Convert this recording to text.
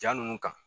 Jaa ninnu kan